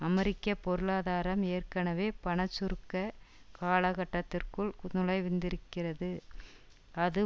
அமெரிக்க பொருளாதாரம் ஏற்கனவே பணச்சுருக்க காலகட்டத்திற்குள் நுழைந்திருக்கிறது அது